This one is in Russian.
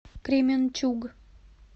кременчуг